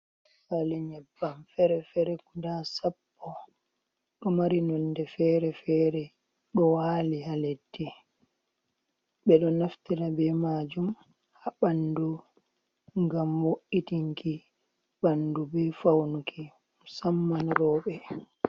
Pali Nyebbam fere fere guda Sappo, ɗo mari nonde fere-fere ɗo wali ha leddi. Ɓe ɗo naftira be majum ha ɓandu ngam wo’itinki ɓandu be faunuki musamman roɓe